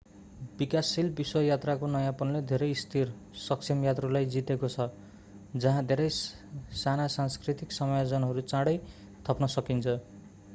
विकासशील विश्व यात्राको नयाँपनले धेरै स्थिर सक्षम यात्रुलाई जितेको छ जहाँ धेरै साना सांस्कृतिक समायोजनहरू चाँडै थप्न सकिन्छ